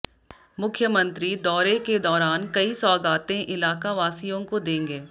मुख्यमंत्री दौरे के दौरान कई सौगातें इलाका वासियों को देंगे